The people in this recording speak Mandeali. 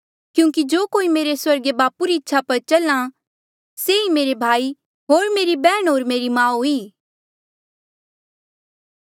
क्यूंकि जो कोई मेरे स्वर्गीय बापू री इच्छा पर चले से ई मेरा भाई होर मेरी बैहण होर मेरी माऊ ई